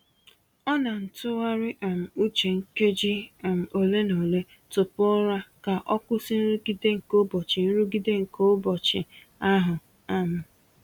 Ọ na-ntụgharị um uche nkeji um ole na ole tupu ụra ka o kwụsị nrụgide nke ụbọchị nrụgide nke ụbọchị ahụ. um